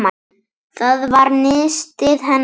Það var nistið hennar Sólu.